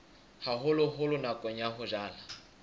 haholoholo nakong ya ho jala